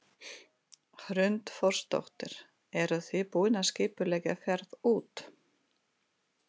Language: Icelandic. Hrund Þórsdóttir: Eruð þið búin að skipuleggja ferð út?